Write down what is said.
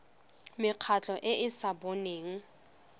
mekgatlho e e sa boneng